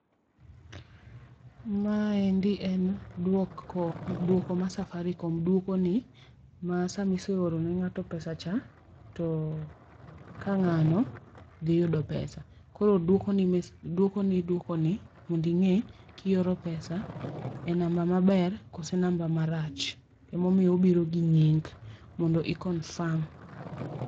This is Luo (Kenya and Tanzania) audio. Maendi en duoko ma Safaricom duokoni ma sama iseorone ng'ata pesa cha to ka ng'ano dhi yudo pesa koro dwokoni dwokoni mondo ing'e kioro pesa e namba maber koso namba marach, ema omiyo obiro gi nying' mondo i confirm.